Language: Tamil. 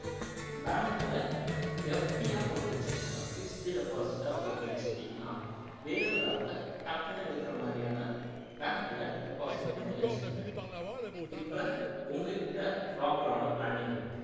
bank ல FD ஆ போட்டு வச்சுக்கோங்க fixed deposit ஆ போட்டு வச்சுகிட்டீங்கன்னா வேணுங்கிறப்ப டக்குனு எடுக்கிற மாதிரியான bank ல deposit பண்ணிவச்சிருங்க இப்போ உங்ககிட்ட proper ஆன planning இருக்கு